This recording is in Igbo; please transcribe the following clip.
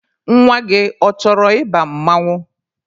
Nwa gị, ọ chọrọ ị ba mmanwụ?